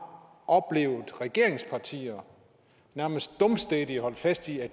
oplevet regeringspartier nærmest dumstædigt holde fast i at